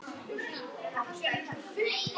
Nei, ég vil það ekki.